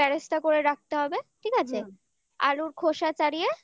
ভেজে বেরেস্তা করে রাখতে হবে ঠিক আছে আলুর খোসা